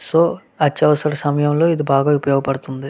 So అత్యవసర సమయం లొ ఇది బాగా ఉపయోగపడుతుంది.